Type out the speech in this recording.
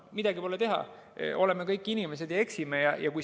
Midagi pole teha, oleme kõik inimesed ja eksime.